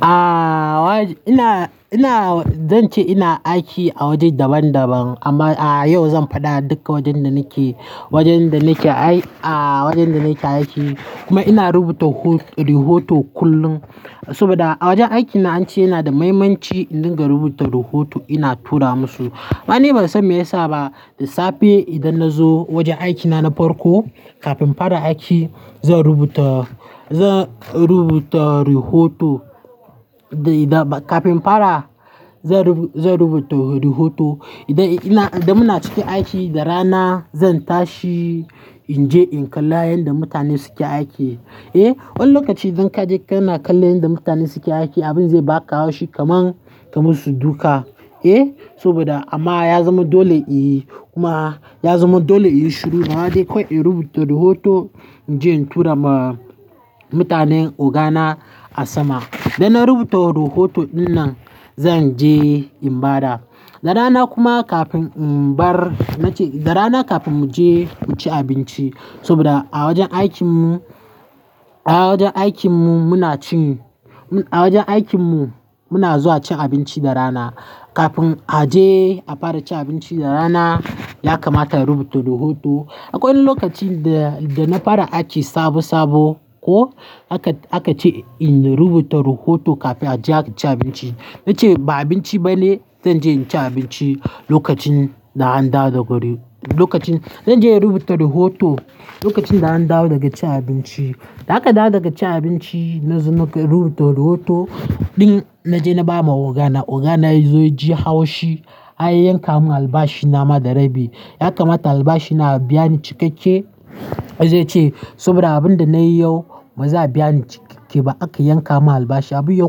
Ah, wajen-- ina, ina, zan ce ina aiki a waje daban-daban amma a yau zan faɗa duka wajen da nake, wajen da nake ai, ah wajen da nake aiki kuma ina rubuta ho-- rohoto kullum saboda a wajen aikin na ance yana da muhimmanci in dinga rubuta rohoto ina tura musu. Ai ni ban san me yasa ba, da safe idan na zo wajen aiki na na farko kafin fara aiki zan rubuta, zan rubuta rohoto. Da ba kafin in fara zan rubuta, zan rubuta rohoto. Idan ina, idan muna cikin aiki da rana zan tashi in je in kalla yanda mutane suke aiki. Eh, wani lokaci idan ka je kana kallon yanda mutane suke aiki, abin zai ba ka haushi kaman ka musu duka. Eh, saboda amma ya zama dole i, kuma ya zama dole inyi shuru amma dai kawai in rubuta rohoto in je in tura ma mutanen ogana a sama. Da na rubuta rohoto dinnan zan je in bada. Da rana kuma kafin in bar, na ce da rana kafin mu je mu ci abinci saboda a wajen aikin mu, a wajen aikin mu muna cin, a wajen aikin mu muna zuwa cin abinci da rana. Kafin a je a fara ci abinci da rana yakamata in rubuta rohoto. Akwai wani lokaci da, da na fara aiki sabo-sabo ko aka, aka ce in rubuta rohoto kafin a je a ci abinci. Na ce ba abinci bane zan je in ci abinci lokacin da an dawo daga ri-- lokacin, zan je in rubuta rohoto lokacin da an dawo daga ci abinci. Da aka dawo daga cin abinci na zo na ka rubuta rohoto din na je na ba ma ogana, ogana ya zo ya ji haushi. An yanka mun albashi na ma da rabi. Yakamata albashin na a biya ni cikakke. Sai zai ce saboda abun da nayi yau ba za a biya ni cikakke ba aka yanka mun albashi. Abu ya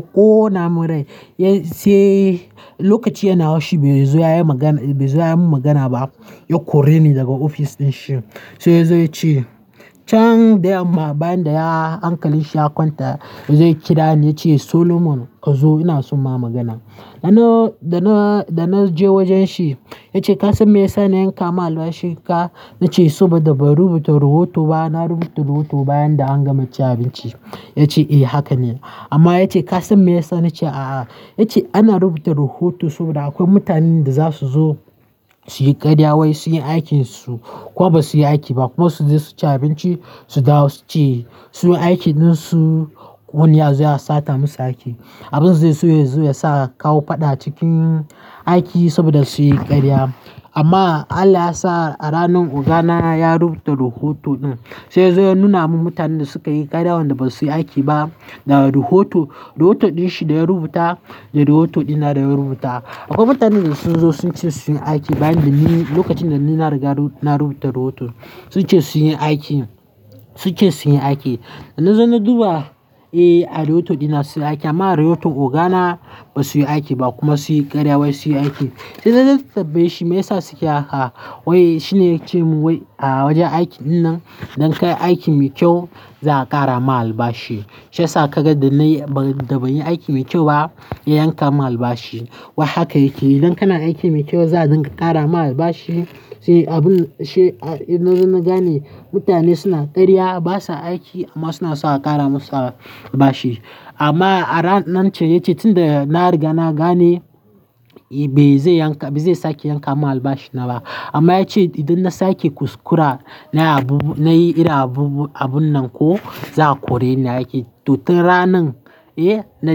ƙona mun rai. Ya sai lokacin yana haushi bai zo ya yi magana, bai zo ya yi mun magana ba. Ya kore ni daga ofis din shi. Sai zayo yace ce can da yama bayan da ya, hankali shi ya kwanta yazo ya kira ni ya ce Solomon ka zo ina so ma magana. Da na, da na, da na je wajen shi ya ce ka san me yasa na yanka ma albashin ka? Ya ce saboda ban rubuta rohoto ba. Na rubuta rohoto bayan da an gama cin abinci. Ya ce eh haka ne amma ya ce ka san me yasa? Na ce a'a. Ya ce ana rubuta rohoto saboda akwai mutanen da za su zo su yi ƙarya wai sunyi aikin su ko ba su yi aiki ba kuma su je su ci abinci su dawo su ce su aiki din su wani ya zo ya sata musu aiki. Abin zai so ya zo ya sa kawo faɗa cikin aiki saboda sun yi ƙarya. Amma Allah ya sa a ranan ogana ya rubuta rohoto din sai ya zo ya nuna mun mutanen da suka yi ƙarya wanda ba su yi aiki ba ga rohoto. Rohoto din shi da ya rubuta da rohoto dina da ya rubuta. Akwai mutanen da sun zo sun ce su yin aiki bayan da ni lokacin da ni na riga ru-- na rubuta rohoto. Sun ce su yin aiki, sun ce su yin aiki. Da na zo na duba, eh a rohoto dina sun yi aiki amma a rohoton ogana ba su yi aiki ba kuma sun yi ƙarya wai su yi aiki. Sai na je na tambaye shi me yasa suke haka wai shi ne ya ce mun wai a wajen aiki dinnan idan ka yi aiki mai kyau za'a ƙara ma albashi. Shi ya sa kaga da nayi ba, da ban yi aiki mai kyau ba ya yanka mun albashi. Wai haka yake yi. Idan kana aiki mai kyau za a dinka ƙara ma albashi. Sai abun shi a, idan na zo na gane mutane suna ƙarya ba sa aiki amma suna so a ƙara musu albashi. Amma a ran, nan ce ya ce tunda na riga na gane ba zai yanka, ba zai sake yanka mun albashi na ba. Amma ya ce idan na sake kuskura na yi abubu, na yi irin abubu, abun nan ko za'a kore ni aiki. To tun ranan, eh na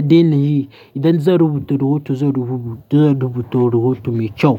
daina yi. Idan zan rubuta rohoto zan rubu, zan rubuta rohoto mai kyau.